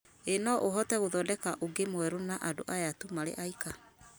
ĩ no ũhote gũthondeka ũngĩ mwerũ na andũ aya tũ marĩ aika